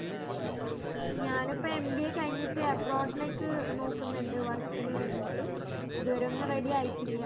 ഞാന് ഇപ്പം mba കഴിഞ്ഞിട്ട് abroad ലേക്ക് നോക്കുന്നുണ്ട് work നു വേണ്ടീട്ട് ഇതുവരെ ഒന്നും ready ആയിട്ടില്ല